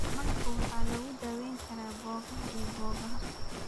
Malabka waxaa lagu daweyn karaa boogaha iyo boogaha.